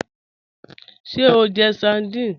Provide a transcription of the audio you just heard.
Ṣé o njẹ́ sárdínè?